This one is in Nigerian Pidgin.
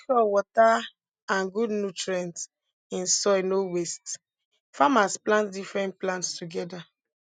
make sure water and good nutrients in soil no waste farmers plant different plants together